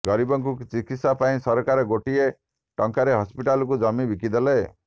ଗରିବଙ୍କୁ ଚିକିତ୍ସା ପାଇଁ ସରକାର ଗୋଟିଏ ଟଙ୍କାରେ ହସ୍ପିଟାଲକୁ ଜମି ବିକିଥିଲେ